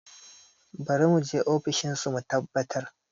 Bari mu je ofishin su mu tabbatar